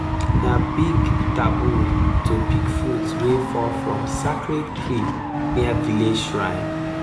na big taboo to pick fruit wey fall from sacred tree near village shrine